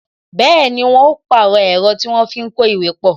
Bẹẹni, wọn ó pàrọ̀ ẹ̀rọ tí a fi ń kó ìwé pọ